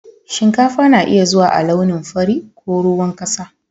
Shinkafa na iya zuwa a launin fari ko ruwan ƙasa.